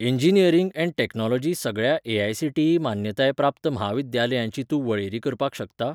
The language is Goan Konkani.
इंजिनिअरिंग ऍण्ड टॅक्नोलॉजी सगळ्या ए.आय.सी.टी.ई. मान्यताय प्राप्त म्हाविद्यालयांची तूं वळेरी करपाक शकता?